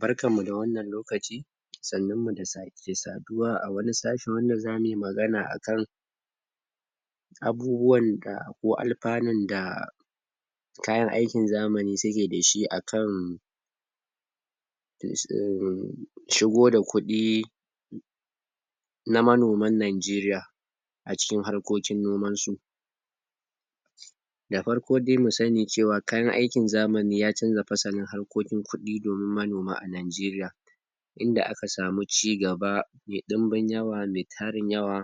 Barkanmu da wannan lokaci sannun mu da sake saduwa a wani sashen wanda zamu yi magana a kan abubuwan da ko alfanun da kayan aikin zamani suke da shi a kan? shigo da kuɗi na manoman Najeriya a cikin harkoki noman su Da farko dai mui sani cewa kaya aikin zamani ya canza fasalin harkokin kuɗi domin manoma a Najeriya inda aka samu cigaba mai ɗumbin yawa mai tarin yawa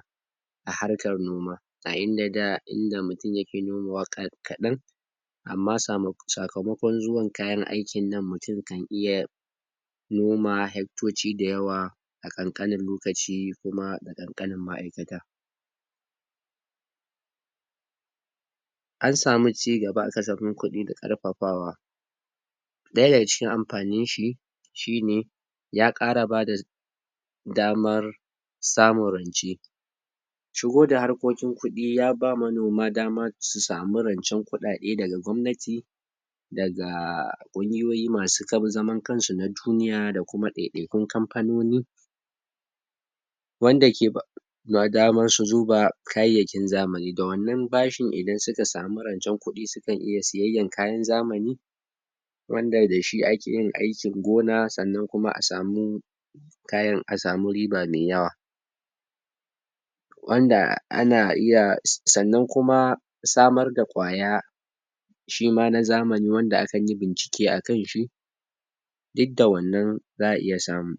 a harkan noma a inda da inda mutum yake nomawa kaɗan amma sakamakon zuwan kayan aikin nan mutum yakan iya noma hektoci dayawa a ƙanƙanin lokaci kuma da ƙanƙanin ma'aikata An samu cigaba a kasafin kuɗi da ƙarfafawa ɗaya daga cikin amfanin shi shine ya ƙara bada damar samun rance shigo da harkokin kuɗi ya ba manoma daman su samu rancen kuɗi daga gwamnati daga ƙungiyoyi masu zaman kansu na duniya da kuma ɗaiɗaikun kamfanoni wanda ke ba manoma damar su zuba kayayyakin zamani Da wannan bashin idan suka samu rancen kuɗi sukan iya siyayyan kayan zamani wanda da shi ake yin aikin gona sannan kuma a samu kayan a samu riba mai yawa wanda ana iya sannan kuma samar da ƙwaya shima na zamani wanda akan yi bincike a kan shi duk da wannan za a iya samu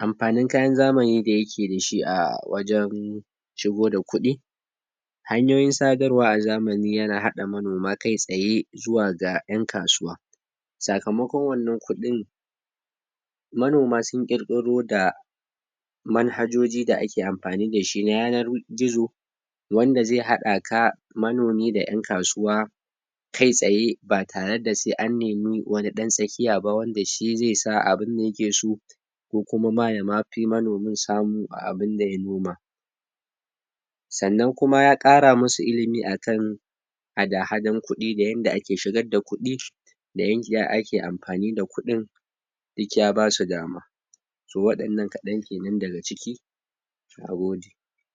Amfanin kayan zamani da yaje da shi a wajen shigo da kuɗi hanyoyin sadarwa a zamani yana haɗa manoma kai tsaye zuwa ga ƴan kasuwa sakamakon wannan kuɗin manoma sun ƙirƙiro da manhajoji da ake amfani da shi na yanar gizo wanda zai haɗa ka manomi da ƴan kasuwa kai tsaye ba tare da sai an nemi wani ɗan tsakiya ba wanda shi zai sa abinda yake so ko kuma ma ya ma fi manomin samu a abinda ya noma Sannan kuma ya ƙara musu ilimi a kan hada-hadan kuɗi da yadda ake shigar da kuɗi da yanda ake amfani da kuɗin duk ya basu dama To waɗannan kaɗan kenan daga ciki Nagode